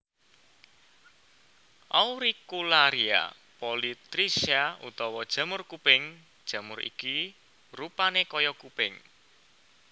Auricularia polytricha utawa jamur kuping jamur iki rupané kaya kuping